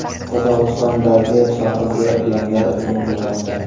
Qozog‘istondagi sohilga ilonlar hujum qilmoqda .